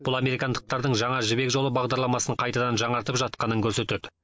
бұл американдықтардың жаңа жібек жолы бағдарламасын қайтадан жаңартып жатқанын көрсетеді